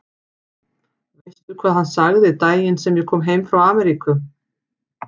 Veistu hvað hann sagði daginn sem ég kom heim frá Ameríku?